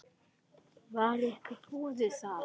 Var ykkur boðið það?